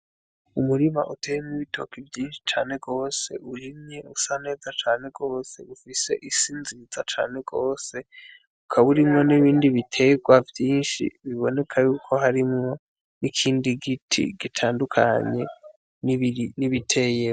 Umurima uteyemwo ibitoki vyinshi cane gose urimye usa neza cane gose ufise isi nziza cane gose ukaba urimwo n'ibindi biterwa vyinshi biboneka yuko harimwo n'ikindi giti gitandukanye n'ibiteye.